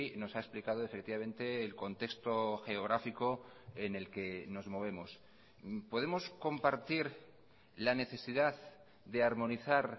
nos ha explicado efectivamente el contexto geográfico en el que nos movemos podemos compartir la necesidad de armonizar